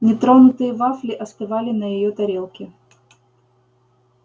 нетронутые вафли остывали на её тарелке